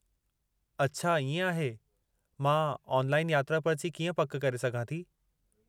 अच्छा इएं आहे! मां ऑनलाइन यात्रा पर्ची कीअं पक करे सघां थी?